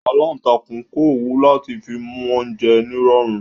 Aláǹtakùn ń kọ́ òwú láti fi mú oúnjẹ nírọ̀rùn